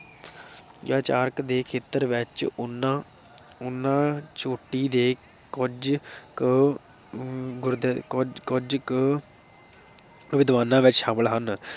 ਚਾਰਕ ਦੇ ਖੇਤਰ ਵਿਚ ਉਹਨਾਂ ਉਹਨਾਂ ਚੋਟੀ ਦੇ ਕੁਝ ਕੁ ਅਮ ਗੁਰਦਿ ਕੁੱਝ ਕੁੱਝ ਕੁ ਵਿਦਵਾਨਾਂ ਵਿਚ ਸ਼ਾਮਲ ਹਨ।